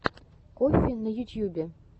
коффи на ютьюбе